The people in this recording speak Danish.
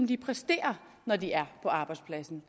de præsterer når de er på arbejdspladsen